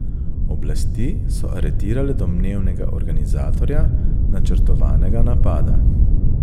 Oblasti so aretirale domnevnega organizatorja načrtovanega napada.